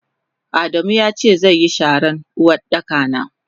Adamu yace zeyi sharan Uwardaka na.